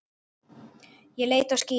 Ég leit á skýið.